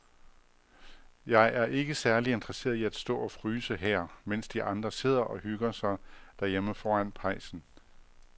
Jeg er ikke særlig interesseret i at stå og fryse her, mens de andre sidder og hygger sig derhjemme foran pejsen.